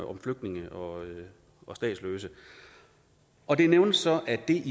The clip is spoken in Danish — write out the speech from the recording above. om flygtninge og og statsløse og det nævnes så at det